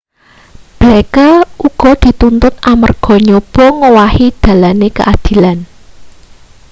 blake uga dituntut amarga nyoba ngowahi dalane keadilan